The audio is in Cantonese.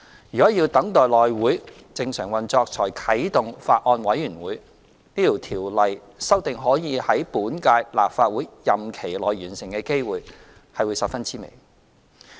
如果要等待內會正常運作才啟動法案委員會，此條例草案的修訂可以在本屆立法會任期內完成的機會是十分之微。